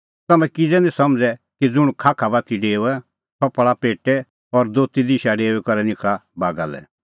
तम्हैं किज़ै निं समझ़ै कि ज़ुंण खाखा दी डेओआ सह पल़ा पेटै और दोती दिशा डेऊई करै निखल़ा बागा लै